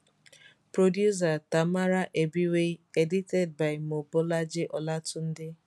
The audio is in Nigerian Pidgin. producer tamara ebiwei edited by mobolaji olatunde